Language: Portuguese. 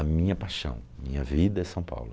A minha paixão, minha vida é São Paulo.